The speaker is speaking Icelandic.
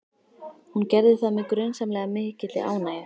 Hún gerði það með grunsamlega mikilli ánægju.